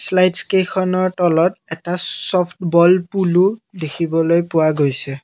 শ্লাইডকেইখনৰ তলত এটা soft ball পোলো দেখিবলৈ পোৱা গৈছে।